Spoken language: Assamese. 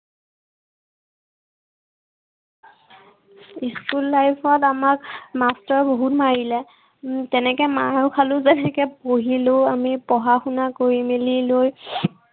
school life ত আমাক master এ বহুত মাৰিলে। উম যেনেকে মাৰ খালো আমি তেনেকে পঢ়িলো আমি। পঢ়া শুনা কৰি মেলি লৈ